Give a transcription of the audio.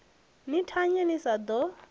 ni thanye ni sa ḓo